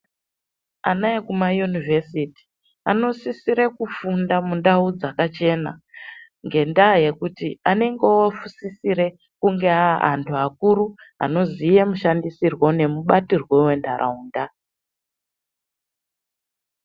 Ana ekumayunivhesiti anosisire kufunda mundau dzakachena ngendaa yekuti anenge oosisire kunge aa antu akuru anoziya mushandisirwo nemubatirwo wentaraunda.